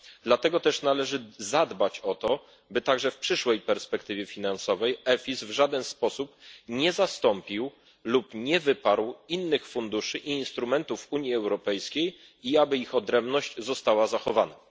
Dlatego też należy zadbać o to, by także w przyszłej perspektywie finansowej EFIS w żaden sposób nie zastąpił lub nie wyparł innych funduszy i instrumentów Unii Europejskiej i aby ich odrębność została zachowana.